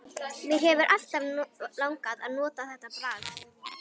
Mig hefur alltaf langað að nota þetta bragð.